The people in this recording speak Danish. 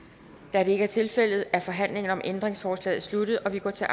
da det ikke er tilfældet er forhandlingen om ændringsforslaget sluttet og vi går til